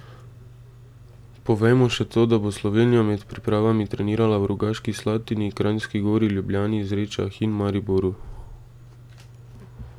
Povejmo še to, da bo Slovenija med pripravami trenirala v Rogaški Slatini, Kranjski Gori, Ljubljani, Zrečah in Mariboru.